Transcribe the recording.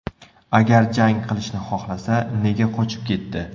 Agar jang qilishni xohlasa, nega qochib ketdi?